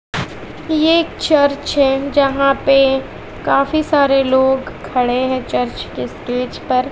ये एक चर्च है जहाँ पे काफी सारे लोग खड़े हैं चर्च के स्टेज पर।